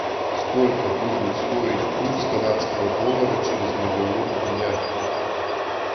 сколько будет стоить курс канадского доллара через миллион дня